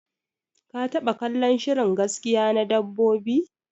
Ka taba kallon shirin gaskiya na dabbobi?